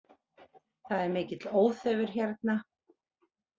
Það er mikill óþefur hérna